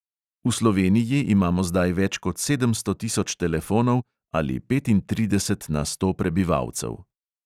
V sloveniji imamo zdaj več kot sedemsto tisoč telefonov ali petintrideset na sto prebivalcev.